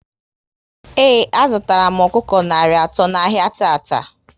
Ee, a zụtara m ọkụkọ narị atọ n'ahia tata